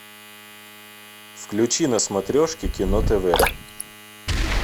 включи на смотрешке кино тв